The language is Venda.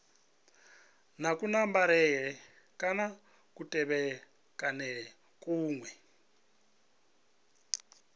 na kunambarele kana kutevhekanele kune